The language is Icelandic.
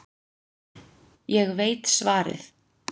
Ég veit svarið.